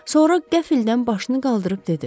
Sonra qəflətən başını qaldırıb dedi.